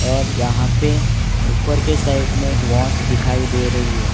और यहां पे ऊपर के साइड में एक वॉच दिखाई दे रही है।